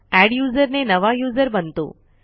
adduser ने नवा user बनतो